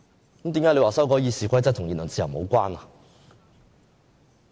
為何建制派說修改《議事規則》與言論自由無關？